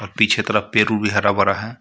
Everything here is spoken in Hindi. और पीछे तरफ पर हरा भरा है.